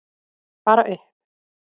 Bara upp!